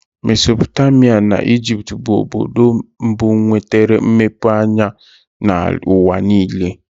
Mesopotamia na Ijipt bụrụ obodo mbụ nwetere mmepe anya n'ụwa niile.